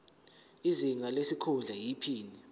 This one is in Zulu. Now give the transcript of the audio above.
izinga lesikhundla iphini